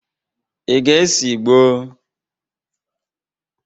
Ị ga-ese ìgbó?